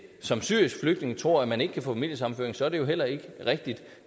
som syrisk flygtning tror at man ikke kan få familiesammenføring så er det jo heller ikke rigtigt